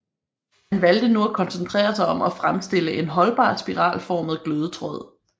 Han valgte nu at koncentrere sig om at fremstille en holdbar spiralformet glødetråd